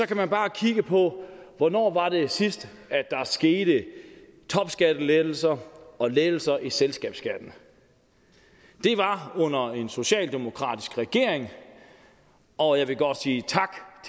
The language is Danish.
kan man bare kigge på hvornår der sidst skete topskattelettelser og lettelser i selskabsskatten det var under en socialdemokratisk regering og jeg vil godt sige tak